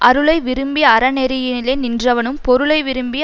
அருளை விரும்பி அறனெறியிலே நின்றவனும் பொருளை விரும்பி